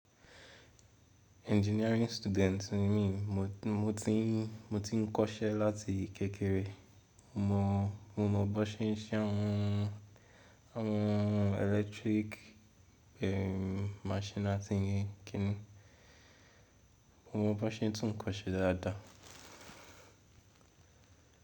Engineering student ni mí, mo ti n kọ́ṣẹ́ láti kékeré. Mo mọ bó ṣe ń ṣe àwọn electric eem, machine àti kíni. Mo mọ bó ṣe ń tún ǹkan ṣe dáadáa.